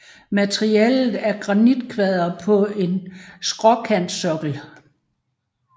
Materialet er granitkvadre på en skråkantsokkel